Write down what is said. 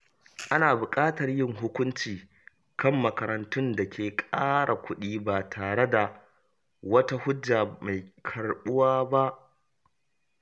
Ana buƙatar yin hukunci kan makarantun da ke ƙara kuɗi ba tare da wata hujja mai karɓuwa ba.